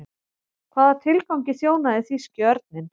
Hvaða tilgangi þjónaði þýski örninn?